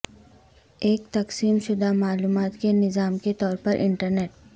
ایک تقسیم شدہ معلومات کے نظام کے طور پر انٹرنیٹ